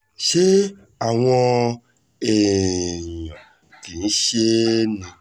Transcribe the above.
ṣé àwọn èèyàn kì í ṣe é ni